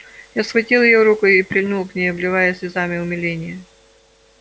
я схватил её руку и прильнул к ней обливая слезами умиления